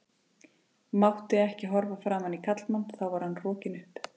Mátti ekki horfa framan í karlmann þá var hann rokinn upp.